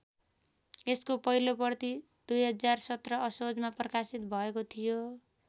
यसको पहिलो प्रति २०१७ असोजमा प्रकाशित भएको थियो।